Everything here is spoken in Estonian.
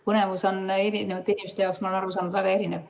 Põnevus on eri inimeste jaoks, ma olen aru saanud, väga erinev.